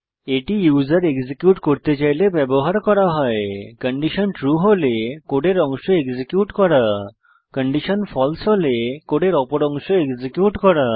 এই user execute করতে চাইলে ব্যবহার করা হয় কন্ডিশন ট্রু হলে কোডের অংশ এক্সিকিউট করা কন্ডিশন ফালসে হলে কোডের অপর অংশ এক্সিকিউট করা